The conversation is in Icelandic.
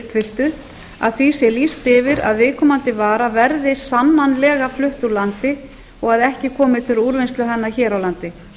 uppfylltu a því sé lýst yfir að viðkomandi vara verði sannanlega flutt úr landi og ekki komi til úrvinnslu hennar hér á landi